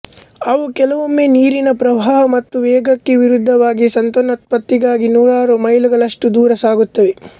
ಅವು ಕೆಲವೊಮ್ಮೆ ನೀರಿನ ಪ್ರವಾಹ ಮತ್ತು ವೇಗಕ್ಕೆ ವಿರುದ್ಧವಾಗಿ ಸಂತಾನೋತ್ಪತ್ತಿಗಾಗಿ ನೂರಾರು ಮೈಲುಗಳಷ್ಟು ದೂರ ಸಾಗುತ್ತವೆ